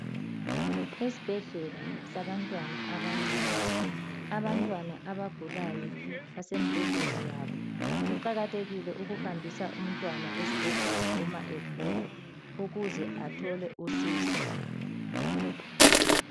Esibhedlela sabantwana abancane abantwana abagulayo basembhedeni yabo kuqakathekile ukuhambisa umntwana esibhedlela uma egula ukuze athole usizo.